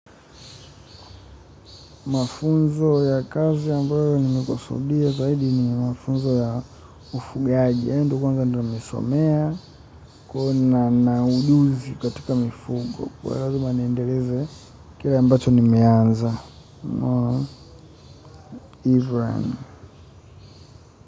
Mafunzo ya kazi ambayo nimekusudia zaidi ni mafunzo ya ufugaji yaani ndo kwanza nimesomea kuna na ujuzi katika mifugo kwa lazima niendeleze kile ambacho nimeanza, unaona, hivyo yaani.